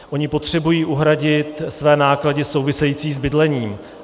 Oni potřebují uhradit své náklady související s bydlením.